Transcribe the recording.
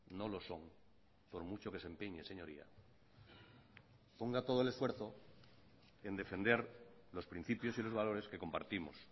no lo son por mucho que se empeñe señoría ponga todo el esfuerzo en defender los principios y los valores que compartimos